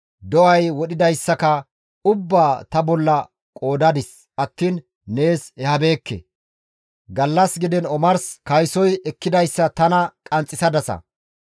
Do7ay wodhidayssaka ubbaa ta bolla qoodadis attiin nees ehabeekke; gallas gidiin omars kaysoy ekkidayssa tana qanxxisadasa.